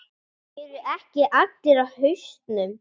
Eru ekki allir á hausnum?